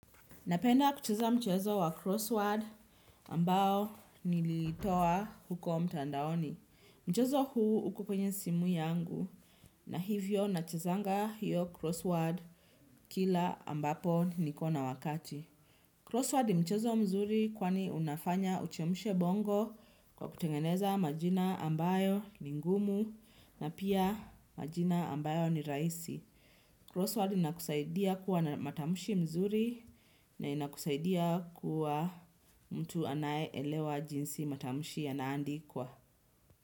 Napenda kucheza mchezo wa crossword ambao niliitoa huko mtandaoni. Mchezo huu uko kwenye simu yangu na hivyo nachezanga hiyo crossword kila ambapo nikona wakati. Crossword ni mchezo mzuri kwani unafanya uchemshe bongo kwa kutengeze majina ambayo ni ngumu na pia majina ambayo ni rahisi Crossword inakusaidia kuwa na matamshi mzuri na inakusaidia kuwa mtu anaye elewa jinsi matamshi yana andikwa.